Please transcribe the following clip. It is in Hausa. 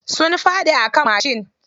Sun faɗi a kan mashin.